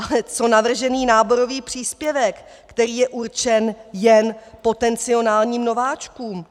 Ale co navržený náborový příspěvek, který je určen jen potenciálním nováčkům?